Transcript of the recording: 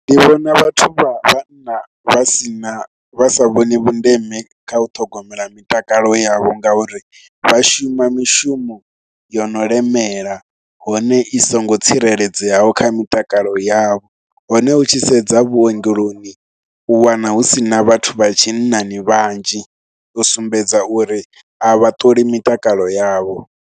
Ndi vhona vhathu vha vhanna vha si na, vha sa vhoni vhundeme kha u ṱhogomela mitakalo yavho ngauri vha shuma mishumo yo no limela hone i songo tsireledzeaho kha mitakalo yavho. Hone u tshi sedza vhuongeloni, u wana hu si na vhathu vha tshinnani vhanzhi, u sumbedza uri a vhaṱoli mitakalo yavho.